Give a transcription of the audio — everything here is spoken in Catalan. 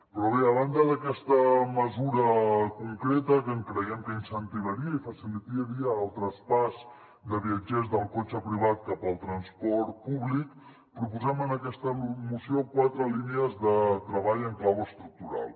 però bé a banda d’aquesta mesura concreta que creiem que incentivaria i facilitaria el traspàs de viatgers del cotxe privat cap al transport públic proposem en aquesta moció quatre línies de treball en clau estructural